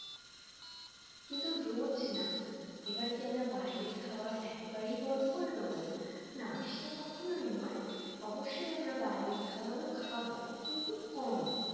কিন্তু রোজ না এবার কি আমরা বাইরের খাওয়ার একেবারেই বন্ধ করে দেবো? না সেটা কখনোই নয় অবশ্যই আমরা বাইরের খাওয়ারও খাব। কিন্তু কম